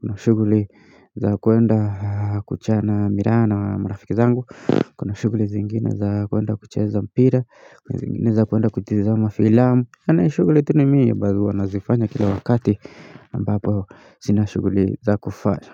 Kuna shuguli za kuenda kuchana miraa na wa marafiki zangu. Kuna shuguli zingine za kuenda kucheza mpira. Kuna zingine za kuenda kutizama filamu. Kunayo shuguli tu ni mii ambazo nazifanya kila wakati ambapo sina shuguli za kufasa.